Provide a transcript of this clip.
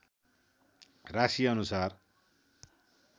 राशिअनुसार